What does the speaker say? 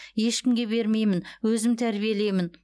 ешкімге бермеймін өзім тәрбиелеймін